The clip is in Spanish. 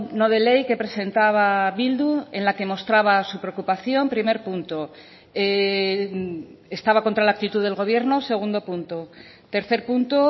no de ley que presentaba bildu en la que mostraba su preocupación primer punto estaba contra la actitud del gobierno segundo punto tercer punto